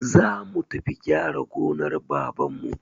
Zamu tafi gyara gonar babanmu.